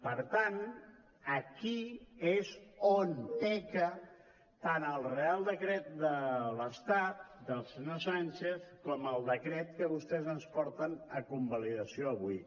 per tant aquí és on peca tant el reial decret de l’estat del senyor sánchez com el decret que vostès ens porten a convalidació avui